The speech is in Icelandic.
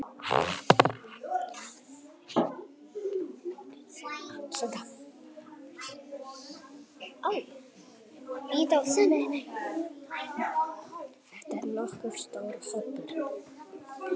Þetta er nokkuð stór hópur.